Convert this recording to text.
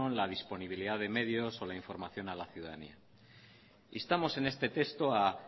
la disponibilidad de medios o la información a la ciudadanía instamos en este texto a